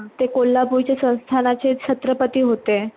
ते कोल्हापूरच्या संस्थानाचे छत्रपती होते.